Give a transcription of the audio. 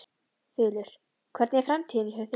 Þulur: Hvernig er framtíðin hjá þér?